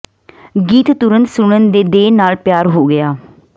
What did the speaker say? ਗੀਤ ਤੁਰੰਤ ਸੁਣਨ ਦੇ ਦਹਿ ਨਾਲ ਪਿਆਰ ਹੋ ਗਿਆ